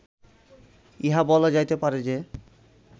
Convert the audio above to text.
ইহা বলা যাইতে পারে যে